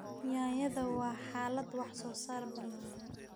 Yaanyada waa xaalad wax soo saar ballaaran.